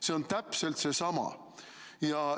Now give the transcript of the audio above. See on täpselt seesama!